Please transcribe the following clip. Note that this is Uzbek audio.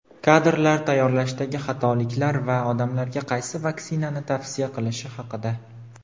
kadrlar tayyorlashdagi xatoliklar va odamlarga qaysi vaksinani tavsiya qilishi haqida.